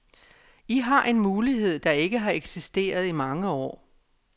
I har en mulighed, der ikke har eksisteret i mange år.